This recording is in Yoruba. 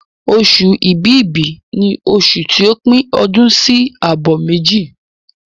Oṣù Ibìbí ni oṣù ti o pín ọdún sí àbọ̀ méjì.